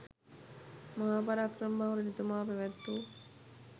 මහා පරාක්‍රමබාහු රජතුමා පැවැත් වූ